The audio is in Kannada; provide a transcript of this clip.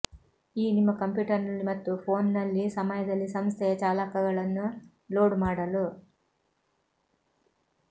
ಈ ನಿಮ್ಮ ಕಂಪ್ಯೂಟರ್ನಲ್ಲಿ ಮತ್ತು ಫೋನ್ನಲ್ಲಿ ಸಮಯದಲ್ಲಿ ಸಂಸ್ಥೆಯ ಚಾಲಕಗಳನ್ನು ಲೋಡ್ ಮಾಡಲು